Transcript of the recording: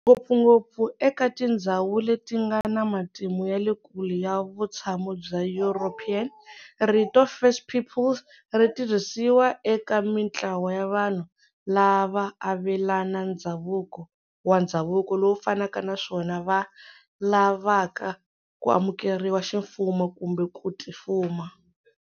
Ngopfungopfu eka tindzhawu letingana matimu yale kule ya vutshamo bya European, rito first peoples ritirhisiwa eka mintlawa ya vanhu lava avelana ndzhavuko wa ndzhavuko lowu fanaka naswona va lavaka ku amukeriwa ximfumo kumbe ku tifuma.